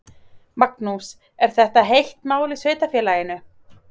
Magnús: Er þetta heitt mál í sveitarfélaginu?